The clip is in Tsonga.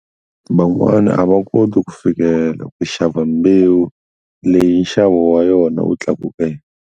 Van'wana a va koti ku fikelela ku xava mbewu leyi nxavo wa yona u tlakukeke.